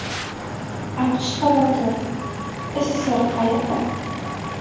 AQSh xavotiri, SSSR qayerda?